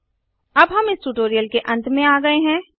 httpspoken tutorialorgNMEICT Intro अब हम इस ट्यूटोरियल के अंत में आ गये हैं